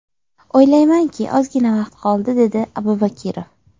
O‘ylaymanki, ozgina vaqt qoldi”, – dedi Abubakirov.